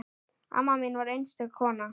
Amma mín var einstök kona.